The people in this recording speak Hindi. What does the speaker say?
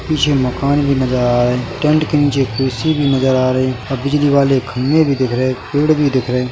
पीछे मकान भी नजर आ रहा है टेंट के नीचे कुर्सी भी नजर आ रही और बिजली वाले खंबे भी दिख रहे पेड़ भी दिख रहे ।